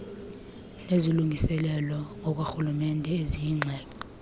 nezilungiselelo zakwarhulumente eziyingxenye